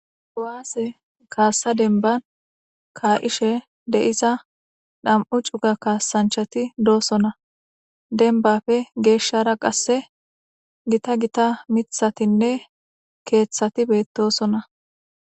owaase kaassa denban kaa7ishe de7iza dham7u cuga kaasanchati doosona denbafe geeshshara qasse gita gita mithatinne keeththati beettosona